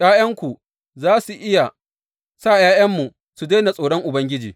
’Ya’yanku za su iya sa ’ya’yanmu su daina tsoron Ubangiji.